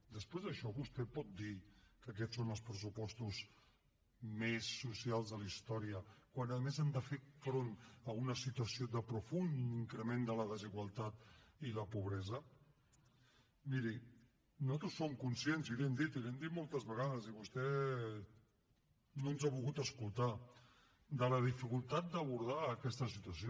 després d’això vostè pot dir que aquests són els pressupostos més socials de la història quan a més han de fer front a una situació de profund increment de la desigualtat i la pobresa miri nosaltres som conscients i li ho hem dit i li ho hem dit moltes vegades i vostè no ens ha volgut escoltar de la dificultat d’abordar aquesta situació